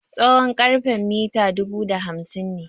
Tsawon karfen mita dubu da hamsin ne.